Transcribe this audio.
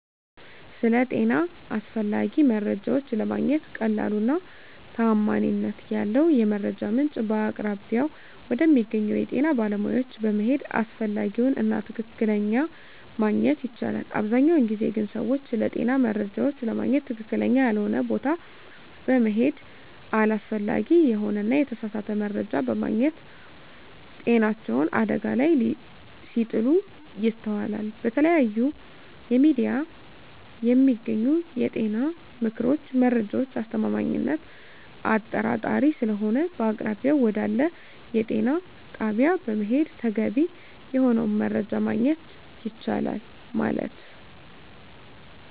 ስለ ጤና አስፈላጊ መረጃዎች ለማግኘት ቀላሉ እና ተአማኒነት ያለው የመረጃ ምንጭ በአቅራቢያው ወደሚገኘው የጤና ባለሙያዎች በመሄድ አስፈላጊውን እና ትክክለኛ ማግኝት ይቻላል አብዛኛውን ጊዜ ግን ሰወች ስለጤና መረጃዎች ለማግኝት ትክክለኛ ያልሆነ ቦታ በመሔድ አላስፈላጊ የሆነ እና የተሳሳተ መረጃ በማግኘት ማጤናቸውን አደጋ ላይ ሲጥሉ ይስተዋላል በተለያዩ የሚዲያ የሚገኙ የጤና ምክሮች መረጃዎች አስተማማኝነት አጣራጣሪ ሰለሆነ በአቅራቢያው ወደአለ የጤና ጣቢያ በመሔድ ተገቢ የሆነውን መረጃ ማግኘት የቻላል ማለት።